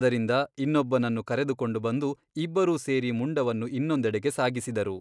ಅದರಿಂದ ಇನ್ನೊಬ್ಬನನ್ನು ಕರೆದುಕೊಂಡು ಬಂದು ಇಬ್ಬರೂ ಸೇರಿ ಮುಂಡವನ್ನು ಇನ್ನೊಂದೆಡೆಗೆ ಸಾಗಿಸಿದರು.